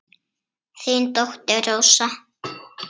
Þín dóttir, Rósa.